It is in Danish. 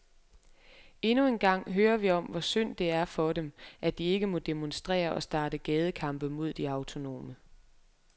Endnu en gang hører vi om, hvor synd det er for dem, at de ikke må demonstrere og starte gadekampe mod de autonome.